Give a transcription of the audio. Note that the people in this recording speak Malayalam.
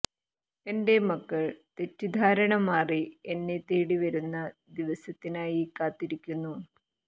എന്റെ മക്കൾ തെറ്റിദ്ധാരണ മാറി എന്നെ തേടി വരുന്ന ദിവസത്തിനായി കാത്തിരിക്കുന്നു